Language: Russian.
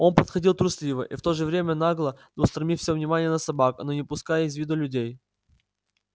он подходил трусливо и в то же время нагло устремив все внимание на собак но не упуская из виду людей